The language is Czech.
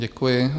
Děkuji.